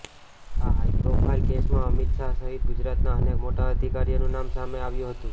આ હાઇપ્રોફાઇલ કેસમાં અમિત શાહ સહિત ગુજરાતના અનેક મોટા અધિકારીઓનું નામ સામે આવ્યું હતું